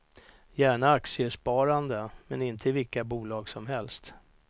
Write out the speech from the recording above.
Gärna aktiesparande, men inte i vilka bolag som helst.